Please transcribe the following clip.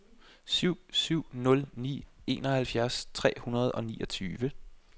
syv syv nul ni enoghalvfjerds tre hundrede og niogtyve